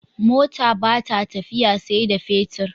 Mota bata tafiya sai da fetir